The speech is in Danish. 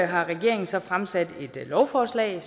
har regeringen så fremsat et lovforslag